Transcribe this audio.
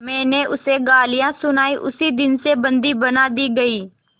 मैंने उसे गालियाँ सुनाई उसी दिन से बंदी बना दी गई